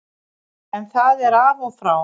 En það er af og frá.